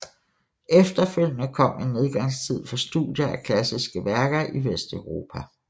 Efterfølgende kom en nedgangstid for studier af klassiske værker i Vesteuropa